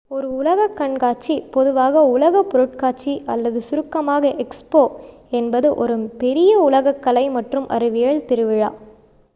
ஒரு உலகக் கண்காட்சி பொதுவாக உலக பொருட்காட்சி அல்லது சுருக்கமாக எக்ஸ்போ என்பது ஒரு பெரிய உலகக் கலை மற்றும் அறிவியல் திருவிழா